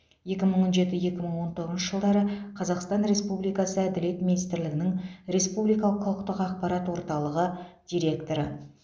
екі мың он жеті екі мың он тоғызыншы жылдары қазақстан республикасы әділет министрлігінің республикалық құқықтық ақпарат орталығы директоры